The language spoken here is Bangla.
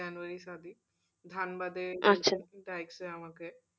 January সাদি ধানবাদে, আমাকে।